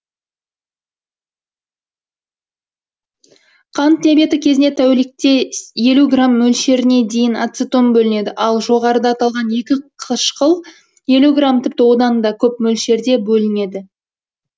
қант диабеті кезінде тәулікте елу грамм мөлшеріне дейін ацетон бөлінеді ал жоғарыда аталған екі қышқыл елу грамм тіпті одан да көп мөлшерде бөлінеді